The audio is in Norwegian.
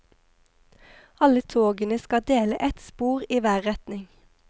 Alle togene skal dele ett spor i hver retning.